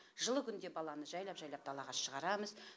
жылы күнде баланы жайлап жайлап далаға шығарамыз